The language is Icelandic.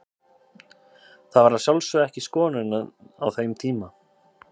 Þetta var að sjálfsögðu ekki skoðunin á þeim tíma.